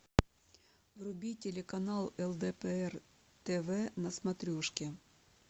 вруби телеканал лдпр тв на смотрешке